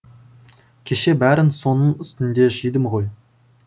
кеше бәрін соның үстінде жидым ғой